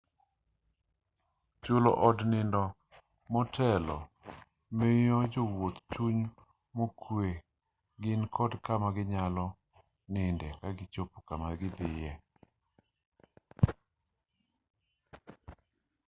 chulo od nindo motelo miyo jowuoth chuny mokwe ni gin kod kama ginyalo ninde kagichopo kama gidhiye